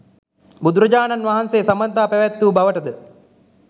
බුදුරජාණන් වහන්සේ සබඳතා පැවැත් වූ බවට ද